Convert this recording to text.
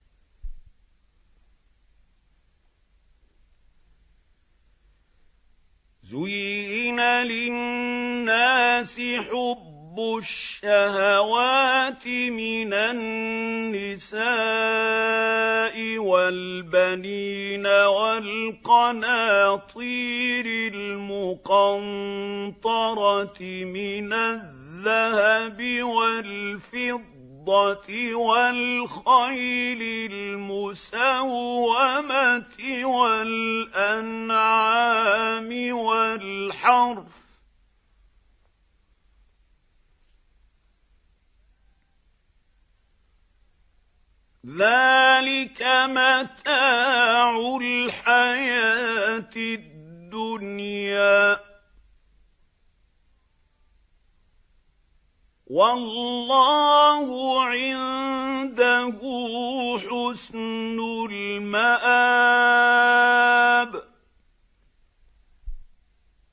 زُيِّنَ لِلنَّاسِ حُبُّ الشَّهَوَاتِ مِنَ النِّسَاءِ وَالْبَنِينَ وَالْقَنَاطِيرِ الْمُقَنطَرَةِ مِنَ الذَّهَبِ وَالْفِضَّةِ وَالْخَيْلِ الْمُسَوَّمَةِ وَالْأَنْعَامِ وَالْحَرْثِ ۗ ذَٰلِكَ مَتَاعُ الْحَيَاةِ الدُّنْيَا ۖ وَاللَّهُ عِندَهُ حُسْنُ الْمَآبِ